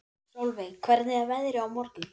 Solveig, hvernig er veðrið á morgun?